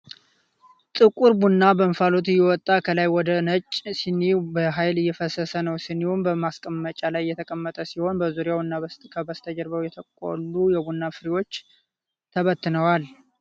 ጥቁር ቡና በእንፋሎት እየወጣ ከላይ ወደ ነጭ ስኒ በሃይል እየፈሰሰ ነው ። ስኒው በማስቀመጫ ላይ የተቀመጠ ሲሆን፣ በዙሪያው እና ከበስተጀርባው የተቆሉ የቡና ፍሬዎች ተበትነዋል።